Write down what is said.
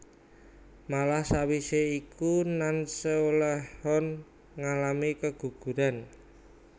Malah sawise iku Nanseolheon ngalami keguguran